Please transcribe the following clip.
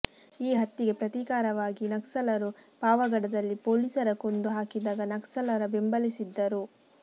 ಈ ಹತ್ಯೆಗೆ ಪ್ರತೀಕಾರವಾಗಿ ನಕ್ಸಲರು ಪಾವಗಡದಲ್ಲಿ ಪೊಲೀಸರ ಕೊಂದು ಹಾಕಿದಾಗ ನಕ್ಸಲರ ಬೆಂಬಲಿಸಿದ್ದರು